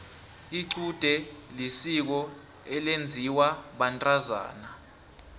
icude lisiko elenziwa bantazana